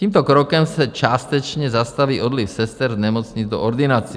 Tímto krokem se částečně zastaví odliv sester z nemocnic do ordinací.